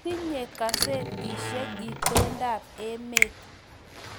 Tinye gazetishek itondo ab emet